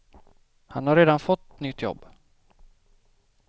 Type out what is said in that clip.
Han har redan fått nytt jobb.